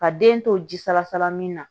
Ka den to ji salasala min na